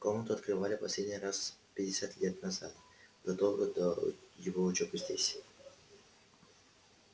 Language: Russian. комнату открывали последний раз пятьдесят лет назад задолго до его учёбы здесь